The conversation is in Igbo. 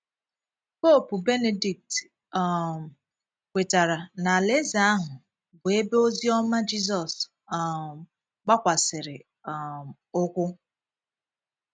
Poopu Benedict um kwetara na Alaeze ahụ “ bụ ebe ozi ọma Jizọs um gbakwasịrị um ụkwụ. ”